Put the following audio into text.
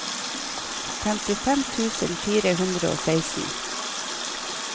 femtifem tusen fire hundre og seksten